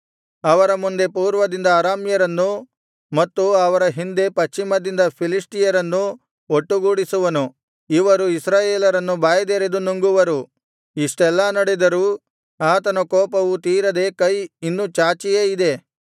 ಅವರ ಮುಂದೆ ಪೂರ್ವದಿಂದ ಅರಾಮ್ಯರನ್ನು ಮತ್ತು ಅವರ ಹಿಂದೆ ಪಶ್ಚಿಮದಿಂದ ಫಿಲಿಷ್ಟಿಯರನ್ನು ಒಟ್ಟುಗೂಡಿಸುವನು ಇವರು ಇಸ್ರಾಯೇಲರನ್ನು ಬಾಯಿದೆರೆದು ನುಂಗುವರು ಇಷ್ಟೆಲ್ಲಾ ನಡೆದರೂ ಆತನ ಕೋಪವು ತೀರದೆ ಕೈ ಇನ್ನು ಚಾಚಿಯೇ ಇದೆ